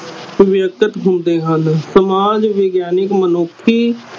ਹੁੰਦੇ ਹਨ ਸਮਾਜ ਵਿਗਿਆਨਿਕ ਮੁਨੱਖੀ